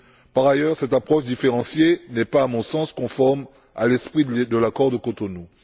Par ailleurs, cette approche différenciée n'est pas, à mon sens, conforme à l'esprit de l'Accord de Cotonou.